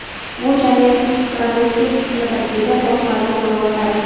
Bu jamiyatning progressiv qismidir”, deydi bosh vazir o‘rinbosari.